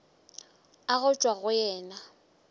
a go tšwa go yena